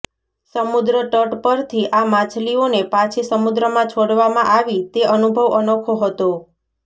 સમુદ્ર તટ પરથી આ માછલીઓને પાછી સમુદ્રમાં છોડવામાં આવી તે અનુભવ અનોખો હતો